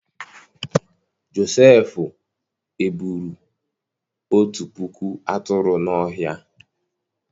Josefu eburu otu puku aturu n'ọhia.